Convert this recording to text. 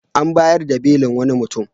An bayar da belin wani mutum.